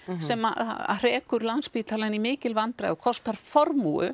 sem að hrekur Landspítalann í mikil vandræði og kostar